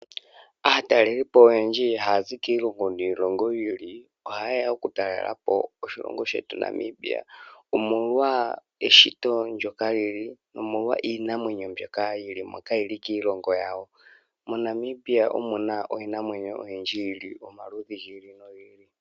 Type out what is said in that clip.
Aatalelipo oyendji haya zi kiilongo niilongi yiili ohayeya okutalelapo oshilongo shetu Namibia omolwa eshito ndyoka lili nomolwa iinamwenyo mbyoka kiilongo yawo. MoNamibia omuna iinamwenyo oyindji yili omaludhi gi ili nogi ili.